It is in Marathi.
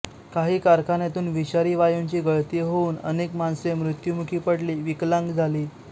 काही कारखान्यातून विषारी वायूंची गळती होऊन अनेक माणसे मृत्युमुखी पडली विकलांग झाली